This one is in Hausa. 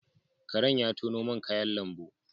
Karen ya tono man kayan lambu